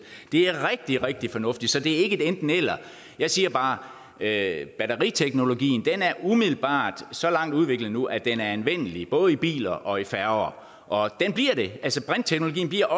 det er rigtig rigtig fornuftigt så det er ikke et enten eller jeg siger bare at batteriteknologien umiddelbart så langt udviklet nu at den er anvendelig både i biler og i færger og brintteknologien bliver